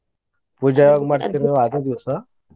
ಪೂಜಾ ಯಾವಾಗ ಮಾಡ್ತೇರಿ ನೀವು ಅದ ದಿವ್ಸ?